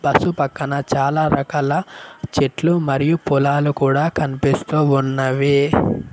Bus పక్కన చాలా రకాల చెట్లు మరియూ పొలాలు కూడా కన్పిస్తూ ఉన్నవి.